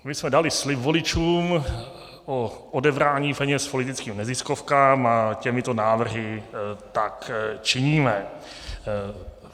My jsme dali slib voličům o odebrání peněz politickým neziskovkám a těmito návrhy tak činíme.